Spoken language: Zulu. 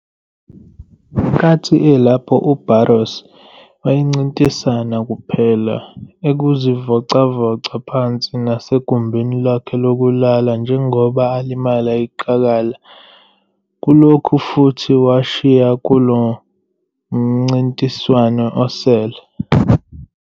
Ngenkathi elapho uBarros wayencintisana kuphela ekuzivocavoca phansi nasegumbini lokulala njengoba alimala iqakala kulokhu futhi washiya kulo mncintiswano osele.